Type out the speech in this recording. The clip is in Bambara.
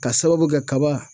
Ka sababu kɛ kaba